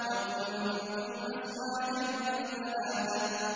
وَكُنتُمْ أَزْوَاجًا ثَلَاثَةً